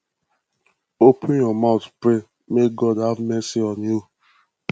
open your mouth pray make god have mercy on you